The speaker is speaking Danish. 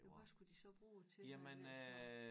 Men hvad skulle de så bruge til det alt sammen